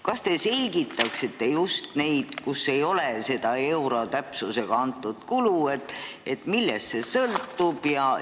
Kas te selgitaksite just neid, kus seda euro täpsusega antud kulu ei ole – millest see sõltub?